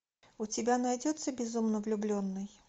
у тебя найдется безумно влюбленный